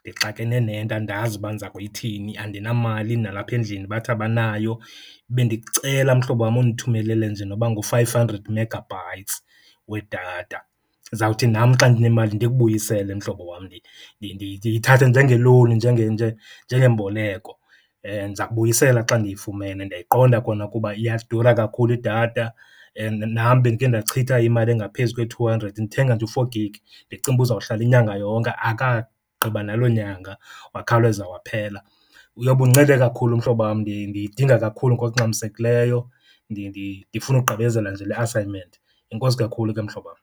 Ndixakene nento andazi uba ndiza kuyithini, andinamali nalapha endlini bathi abanayo. Bendicela mhlobam undithumelele nje noba ngu-five hundred megabytes wedatha, ndizawuthi nam xa ndinemali ndikubuyisele, mhlobo wam. Yithathe njengelowuni, njengemboleko, ndiza kubuyisela xa ndiyifumene. Ndiyayiqonda kona ukuba iyadura kakhulu idatha, nam bendike ndachitha imali engaphezu kwe-two hundred ndithenga nje u-four gig ndicinga uba uzohlala inyanga yonke, akagqiba naloo nyanga, wakhawuleza waphela. Uyobe undincede kakhulu, mhlobam, ndiyidinga kakhulu ngokungxamisekileyo, ndifuna ukugqibezela nje le assignment. Enkosi kakhulu ke, mhlobam.